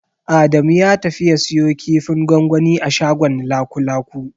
Adamu ya tafi ya siyo kifin gwangwani a shagon Lakulaku.